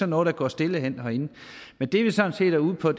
noget der går stille af herinde men det vi sådan set er ude på